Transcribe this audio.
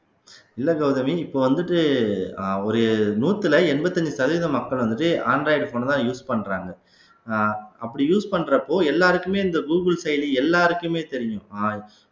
இல்ல கௌதமி இப்ப வந்துட்டு அஹ் ஒரு நூத்துல எண்பத்தஞ்சு சதவீத மக்கள் வந்துட்டு android phone அ தான் use பண்றாங்க அஹ் அப்படி use பண்றப்போ எல்லாருக்குமே இந்த கூகுள் செயலி எல்லாருக்குமே தெரியும்